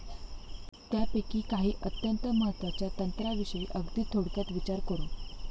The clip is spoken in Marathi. त्यापैकी काही अत्यंत महत्वाच्या तंत्राविषयी अगदी थोडक्यात विचार करू.